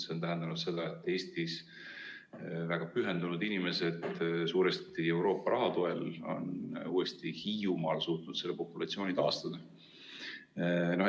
See tähendab seda, et Eestis väga pühendunud inimesed suuresti euroraha toel on uuesti Hiiumaal suutnud selle populatsiooni taastada.